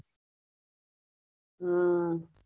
હમ